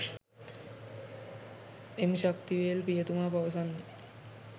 එම් ශක්තිවේල් පියතුමා පවසන්නේ